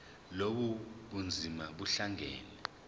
lobu bunzima buhlangane